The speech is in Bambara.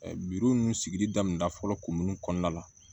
ninnu sigili daminɛna fɔlɔ kun min kɔnɔna la